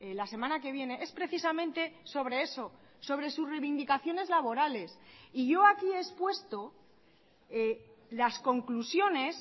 la semana que viene es precisamente sobre eso sobre sus reivindicaciones laborales y yo aquí he expuesto las conclusiones